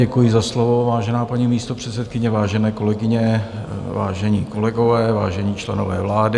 Děkuji za slovo, vážená paní místopředsedkyně, vážené kolegyně, vážení kolegové, vážení členové vlády.